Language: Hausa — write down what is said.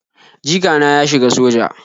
Jikana ya shiga soja